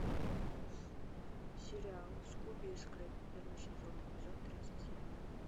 сериал скуби и скрэппи первый сезон эпизод тридцать семь